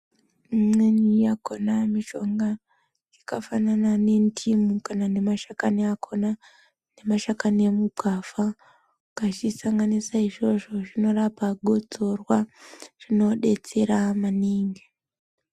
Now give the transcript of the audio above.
Imweni yakona mishonga yakafanana nendimu kana nemashakani akona nemashakani emugwavha ukazvisanganisa izvozvo zvinorapa gotsorwa zvinodetsera maningi.